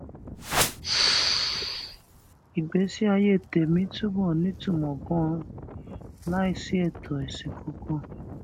ìgbésí ayé tèmí mi túbò nítumò ganan láìsí ètò èsìn kankan